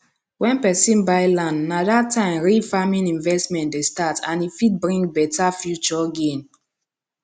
wen person buy land na that time real farming investment dey start and e fit bring better future gain